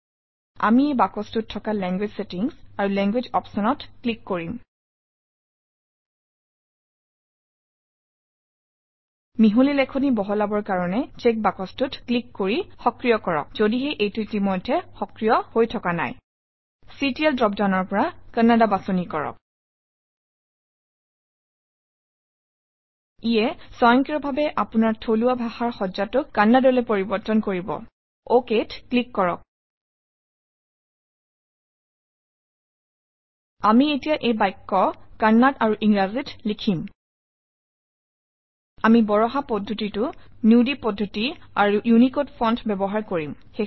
আমি এই বাকচটোত থকা লেংগুৱেজ ছেটিংছ আৰু লেংগুৱেজেছ Option অত ক্লিক কৰিম মিহলি লেখনি বহলাবৰ কাৰণে চ্ছেক বাকচটোত ক্লিক কৰি সক্ৰিয় কৰক যদিহে এইটো ইতিমধ্যে সক্ৰিয় হৈ থকা নাই চিটিএল ড্ৰপ ডাউনৰ পৰা কান্নাডা বাছনি কৰক ইয়ে স্বয়ংক্ৰিয়ভাৱে আপোনাৰ থলুৱা ভাষাৰ সজ্জাটোক কন্নড়লৈ পৰিৱৰ্তন কৰিব Ok ত ক্লিক কৰক এমি এতিয়া এটা বাক্য কন্নড় আৰু ইংৰাজীত লিখিম আমি বৰাহা পদ্ধতি নুদি পদ্ধতি আৰু ইউনিকোড ফণ্ট ব্যৱহাৰ কৰিম